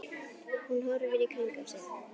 Hún horfir í kringum sig.